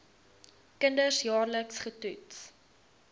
kinders jaarliks getoets